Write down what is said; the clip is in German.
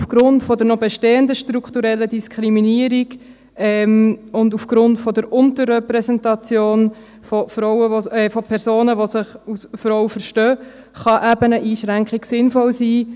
Aufgrund der noch bestehenden strukturellen Diskriminierung und aufgrund der Unterrepräsentation von Personen, die sich als Frauen verstehen, kann eine Einschränkung eben sinnvoll sein.